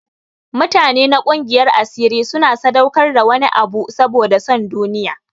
Mutane na gungiyar asiri suna sadaukar da wani abu saboda son duniya.